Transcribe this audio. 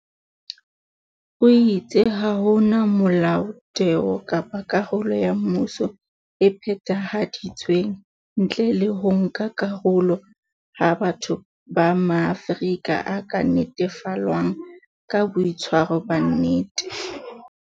O itse ha hona Molaotheo kapa karolo ya mmuso e phethahaditsweng ntle le ho nka karolo ha batho ba Maafrika o ka netefallwang ke boitshwaro ba nnete.